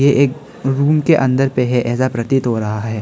एक रूम के अंदर पे है ऐसा प्रतीत हो रहा है।